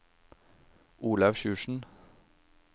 Olaug Sjursen